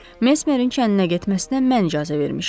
Mesmerin kəndinə getməsinə mən icazə vermişəm.